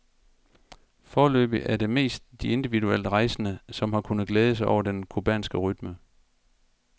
Foreløbig er det mest de individuelt rejsende, som har kunnet glæde sig over den cubanske rytme.